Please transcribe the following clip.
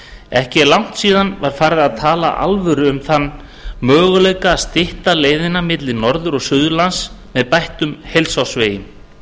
ekki er langt síðan farið var að tala af alvöru um þann möguleika að stytta leiðina milli norður og suðurlands með bættum heilsársvegi